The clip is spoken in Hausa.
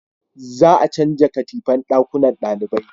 za a canja katifan dakunnan dalibai